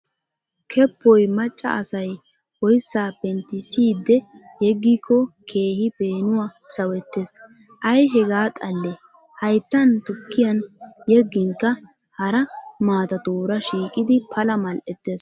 Keppoy macca asay oyissaa penttissiidde yeggikko keehi peenuwa sawettes. Ay hagaa xallee hayittan tukkiyan yegginkka hara maatatuura shiiqidi pala mal'ettes.